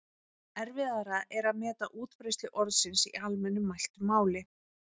Erfiðara er að meta útbreiðslu orðsins í almennu mæltu máli.